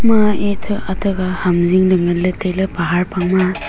ma ethe atha kha ham zing ley ngan ley tai ley pahar phang ma a.